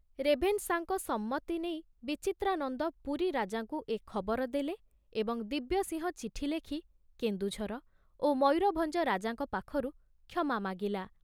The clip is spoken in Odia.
ରେଭେନ୍ସାଙ୍କ ସମ୍ମତି ନେଇ ବିଚିତ୍ରାନନ୍ଦ ପୁରୀ ରାଜାଙ୍କୁ ଏ ଖବର ଦେଲେ ଏବଂ ଦିବ୍ୟସିଂହ ଚିଠି ଲେଖି କେନ୍ଦୁଝର ଓ ମୟୂରଭଞ୍ଜ ରାଜାଙ୍କ ପାଖରୁ କ୍ଷମା ମାଗିଲା।